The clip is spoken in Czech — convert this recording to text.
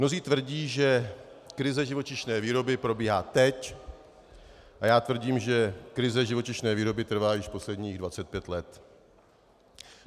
Mnozí tvrdí, že krize živočišné výroby probíhá teď, a já tvrdím, že krize živočišné výroby trvá již posledních 25 let.